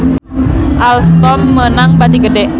Alstom meunang bati gede